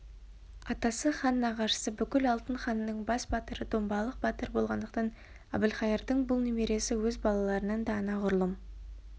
атасы хан нағашысы бүкіл алтын ханның бас батыры домбалық батыр болғандықтан әбілқайырдың бұл немересі өз балаларынан да анағұрлым